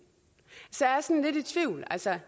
så jeg er sådan lidt i tvivl altså